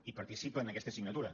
i participa en aquesta signatura